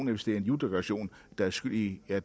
hvis det er en juledekoration der er skyld i at